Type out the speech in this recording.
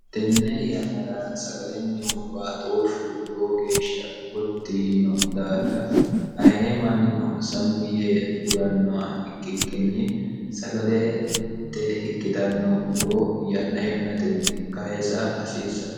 tenne yannara sagalennihu baatooshshu lowo geeshsha gotti yiino daafira haye mannino sammi yee agurannoha ikkikkinni sagalette ikkitanno muro yanna yannatenni kayisa hasiissanno